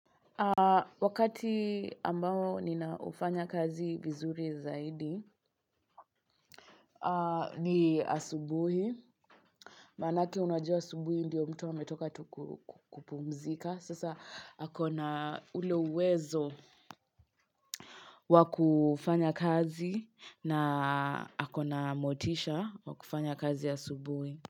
Wakati ambao ninaufanya kazi vizuri zaidi ni asubuhi. Maanake unajua asubuhi ndiyo mtu ametoka tu kupumzika. Sasa akona ule uwezo wakufanya kazi na akona motisha wakufanya kazi asubuhi.